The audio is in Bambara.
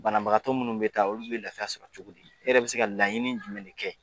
Banabagatɔ minnu be taa olu bɛ lafiya sɔrɔ cogo di ? E yɛrɛ bɛ se ka laɲini jumɛn de kɛ ?